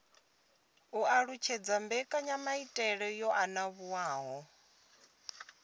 u alutshedza mbekanyamaitele yo anavhuwaho